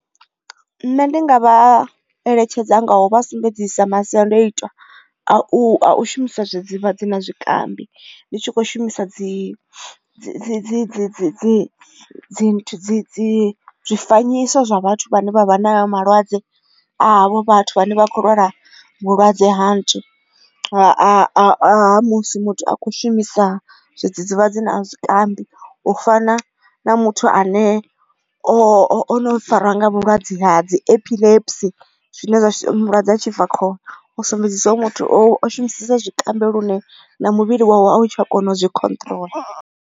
Nṋe ndi nga vha eletshedza ngau vha sumbedzisa masiandoitwa a u shumisa dzivha dzi na zwikambi ndi tshi kho shumisa dzi dzi dzi dzi dzi dzi dzi dzi dzi zwifanyiso zwa vhathu vhane vha vha na malwadze avho vhathu vhane vha khou lwala vhulwadze ha nthu a musi muthu a kho shumisa zwidzidzivhadzi na zwikambi u fana na muthu ane ono fariwa nga vhulwadze ha dzi epilepsy zwine zwa mulwadze a tshifakhole o sumbedzisa uri muthu o shumisesa zwikambi lune na muvhili wawe a u tsha kona u zwi control.